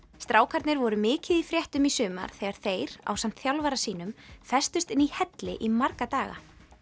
strákarnir voru mikið í fréttum í sumar þegar þeir ásamt þjálfara sínum festust inni í helli í marga daga